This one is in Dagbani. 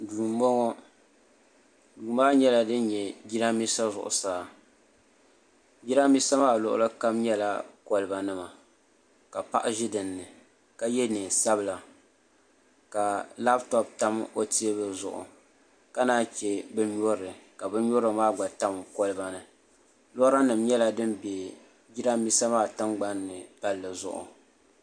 Duu n boŋo duu maa nyɛla din bɛ jiranbiisa zuɣusaa jiranbiisa maa luɣuli kam nyɛla kolba nima ka paɣa ʒi dinni ka yɛ neen sabila ka labtoop tam o teebuli zuɣu ka naan chɛ bin nyurili ka bin nyurili maa gba tam kolba ni lora nim nyɛla din bɛ jiranbiisa maa tingbanni palli zuɣu